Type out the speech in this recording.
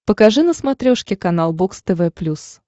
покажи на смотрешке канал бокс тв плюс